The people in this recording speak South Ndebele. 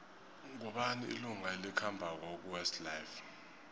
ngubani ilunga elikhambako kuwest life